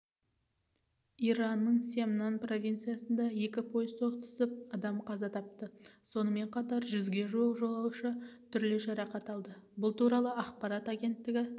иранның семнан провинциясында екі пойыз соқтығысып адам қаза тапты сонымен қатар жүзге жуық жолаушы түрлі жарақат алды бұл туралы ақпарат агенттігі